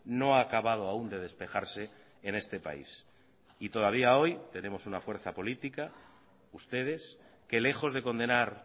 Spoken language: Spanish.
no ha acabado aún de despejarse en este país y todavía hoy tenemos una fuerza política ustedes que lejos de condenar